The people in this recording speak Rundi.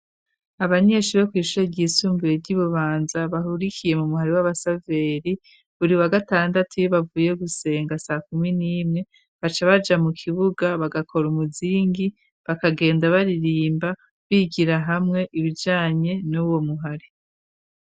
Abanyenshi bo kw'ishuro ryisumbire ry'ibubanza bahurikiye mu muhari w'abasaveri buri wa gatandatu y'ibavuye gusenga sa kumi n'imwe baca baja mu kibuga bagakora umuzingi bakagenda baririmba bigira hamwe ibijanye n'uwo muhare.